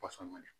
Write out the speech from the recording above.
Pɔsɔn ne